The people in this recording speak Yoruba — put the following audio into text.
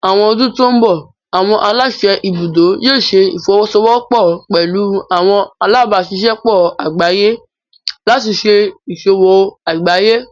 Ní àwọn ọdún tó ń bọ̀, àwọn aláṣẹ ibùdó yóò ṣẹ ìfọwọ́sọwọ́pọ̀ pẹlú àwọn alábáṣiṣẹ́pọ̀ àgbáyé láti ṣé ìṣòwò àgbáyé